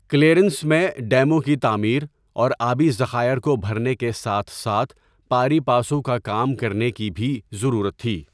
Clearance میں ڈیموں کی تعمیر اور آبی ذخائر کو بھرنے کے ساتھ ساتھ پاری پاسو کا کام کرنے کی بھی ضرورت تھی۔